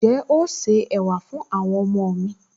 Ǹjẹ́ o se ẹ̀wà fún àwọn ọmọọmọ mi